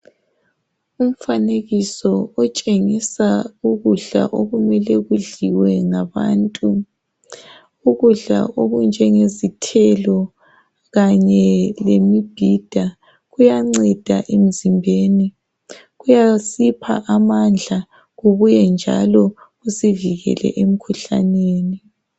Umfanekiso otshengisa ukudla okumele kudliwe ngabantu. Ukudla okunjengezithelo kanye lemibhida, kuyanceda emzimbeni. Kuyasipha amandla kubuyenjalo kusivukele emkhuhlaneni.